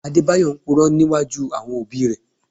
Adébáyọ̀ ń Purọ́ níwájú àwọn òbí rẹ̀